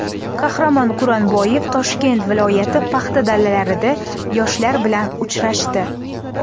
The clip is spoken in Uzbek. Qahramon Quronboyev Toshkent viloyati paxta dalalarida yoshlar bilan uchrashdi.